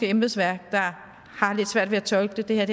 embedsværk der har lidt svært ved at tolke det det her